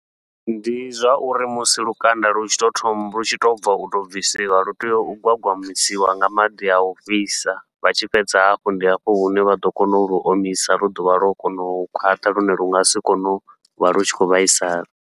Ndi zwa uri musi lukanda lu tshi tou thoma lu tshi tou bva uto bvisiwa, lu tea u gwagwamisiwa nga maḓi au fhisa vha tshi fhedza hafho ndi hafho hune vha ḓo kona u lu omisa lu ḓovha lwo kono u khwaṱha, lune lu ngasi kone uvha lu tshi khou vhaisala.